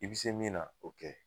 I bi se min na o kɛ.